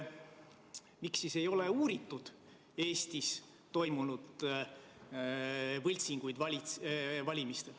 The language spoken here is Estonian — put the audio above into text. Miks siis ei ole uuritud Eesti valimistel toimepandud võltsinguid?